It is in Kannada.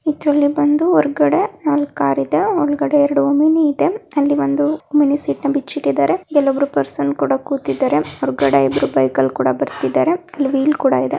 ಇದರಲ್ಲಿ ಬಂದು ಹೊರಗಡೆ ನಾಲ್ಕ್ ಕಾರ್ ಇದೆ ಒಳಗಡೆ ಎರಡು ಓಮಿನಿ ಇದೆ. ಅಲ್ಲಿ ಒಂದು ಮಿನಿ ಸೀಟನ ಬಿಚ್ಚಿ ಇಟ್ಟಿದ್ದರೆ ಇಲ್ಲೊಬ್ಬರು ಪರ್ಸನ್ ಕೂಡ ಕೂತಿದ್ದಾರೆ ಹೊರಗಡೆ ಇಬ್ಬರು ಬೈಕ್ ಅಲ್ಲಿ ಕೂಡ ಬರ್ತಿದ್ದಾರೆ ಅಲ್ಲಿ ವೀಲ್ ಕೂಡ ಇದೆ.